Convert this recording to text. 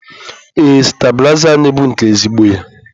Ee stabilizer anyị bụ nke ezigbo ya.